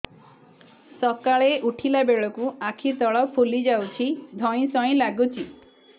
ସକାଳେ ଉଠିଲା ବେଳକୁ ଆଖି ତଳ ଫୁଲି ଯାଉଛି ଧଇଁ ସଇଁ ଲାଗୁଚି